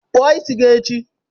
Kpụọ isi gi echi